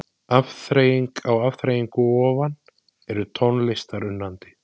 Afþreying á afþreyingu ofan Ertu tónlistarunnandi?